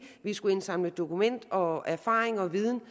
vi skulle indsamle dokumentation og erfaring og viden